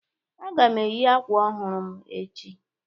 Aga m eyi akwa ọhụrụ m echi